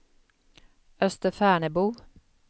Österfärnebo